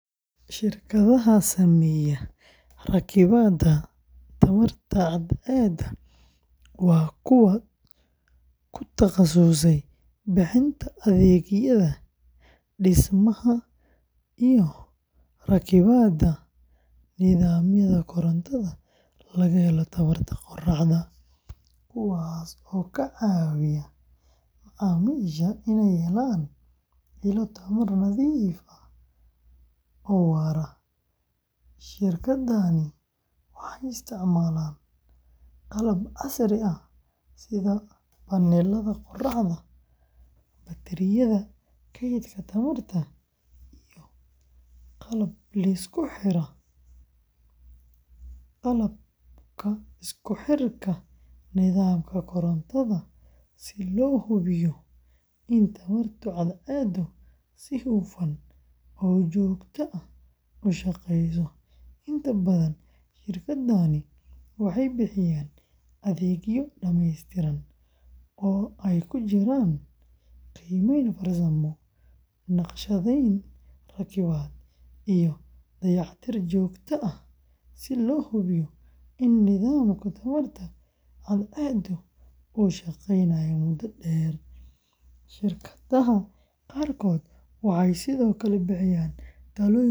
Shirkadaha sameeya rakibaadda tamarta cadceedda waa kuwa ku takhasusay bixinta adeegyada dhismaha iyo rakibaadda nidaamyada korontada laga helo tamarta qoraxda, kuwaas oo ka caawiya macaamiisha in ay helaan ilo tamar nadiif ah oo waara. Shirkadahani waxay isticmaalaan qalab casri ah sida panelada qoraxda, batariyada keydka tamarta, iyo qalabka isku xirka nidaamka korontada si loo hubiyo in tamarta cadceeddu si hufan oo joogto ah u shaqeyso. Inta badan shirkadahani waxay bixiyaan adeegyo dhamaystiran oo ay ku jiraan qiimeyn farsamo, naqshadeyn, rakibaad, iyo dayactir joogto ah si loo hubiyo in nidaamka tamarta cadceeddu uu shaqeynayo muddo dheer. Shirkadaha qaarkood waxay sidoo kale bixiyaan talooyin ku saabsan.